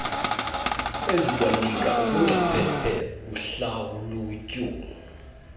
ezikwanika ubungcaphephe kuhlalutyo